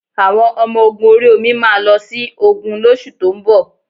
Àwọn Ọmọ ogun ori omi máa lọ sí ogun lóṣù tó ń bọ̀